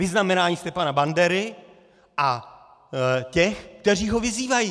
Vyznamenání Stefana Bandery a těch, kteří ho vyzývají.